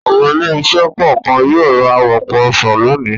Àwọn ilé-iṣẹ́ kọ̀ọ̀kan yóò ra ọ̀pọ̀ ọsàn lónìí.